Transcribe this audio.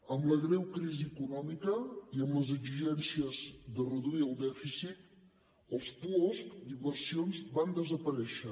amb la greu crisi econòmica i amb les exigències de reduir el dèficit els puosc d’inversions van desaparèixer